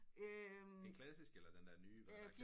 Den klassiske eller den der nye hvor der er en kant